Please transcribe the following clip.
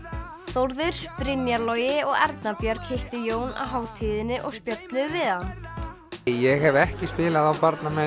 Þórður Brynjar Logi og Erna Björg hittu Jón á hátíðinni og spjölluðu við hann ég hef ekki spilað á